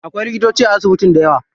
Akwai likitoci a asibitin dayawa.